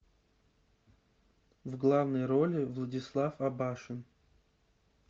в главной роли владислав абашин